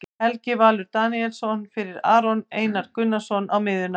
Helgi Valur Daníelsson fyrir Aron Einar Gunnarsson á miðjuna.